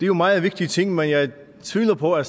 jo meget vigtige ting men jeg tvivler på at